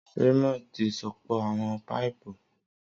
Raymond ti sopọ awọn paipu.